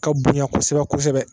Ka bonya kosɛbɛ kosɛbɛ